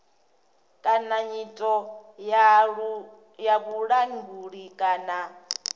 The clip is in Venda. kana nyito ya vhulanguli kana